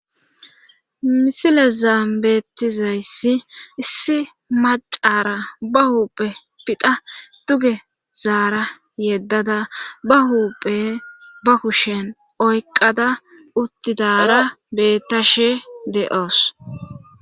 misile zaambeettizayssi issi macaara ba huuphe pidha duge zaara yeddada ba huuphe ba kushen oyqada uttidara bettashe de7oos